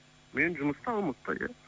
мен жұмыстамын алматыда иә